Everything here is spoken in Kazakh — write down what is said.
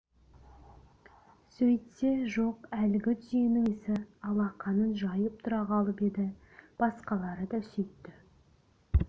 сөйтсе жоқ әлгі түйенің иесі алақанын жайып тұра қалып еді басқалары да сөйтті